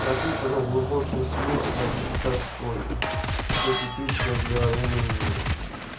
пропитанная глубоким смыслом и тоской что типично для румынии